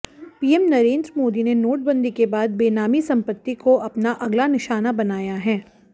PM Narendra Modi ने नोटबंदी के बाद बेनामी संपत्ति को अपना अगला निशाना बनाया है